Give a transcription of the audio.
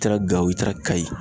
I taara gawo i taara kayi.